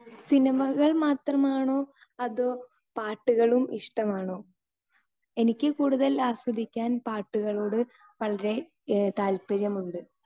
Speaker 2 സിനിമകൾ മാത്രമാണോ അതോ പാട്ടുകളും ഇഷ്ടമാണോ? എനിക്ക് കൂടുതൽ ആസ്വദിക്കുവാൻ പാട്ടുകളോട് വളരെ താല്പര്യമുണ്ട്.